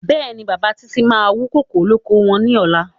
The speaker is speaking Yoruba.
Bẹ́ẹ̀ni, bàbá Títí máa wú kókò lóko wọn ní ọ̀la.